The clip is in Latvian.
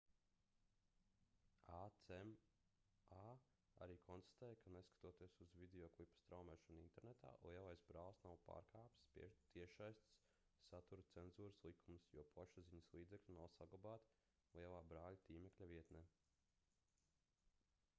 acma arī konstatēja ka neskatoties uz videoklipa straumēšanu internetā lielais brālis nav pārkāpis tiešsaistes satura cenzūras likumus jo plašsaziņas līdzekļi nav saglabāti lielā brāļa tīmekļa vietnē